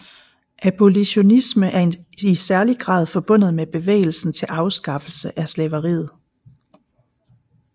Abolitionisme er i særlig grad forbundet med bevægelsen til afskaffelse af slaveriet